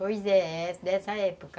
Pois é, dessa época.